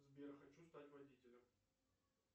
сбер хочу стать водителем